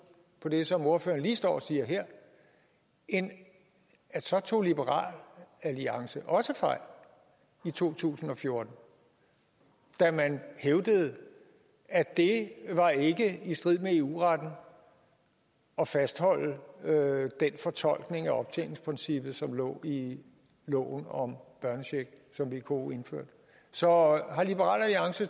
på det som ordføreren lige står og siger her end at så tog liberal alliance også fejl i to tusind og fjorten da man hævdede at det ikke var i strid med eu retten at fastholde den fortolkning af optjeningsprincippet som lå i loven om børnecheck som vko indførte så